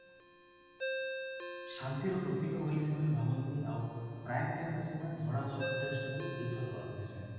ଶାନ୍ତିର ପ୍ରତୀକ ବୋଲି ସେମାନେ ଭାବନ୍ତି ଆଉ ପ୍ରାୟେ time ରେ ସେମାନେ ଧଳା dress ଯୋଉ ଟାକୁ prefer କରନ୍ତି ସେମାନେ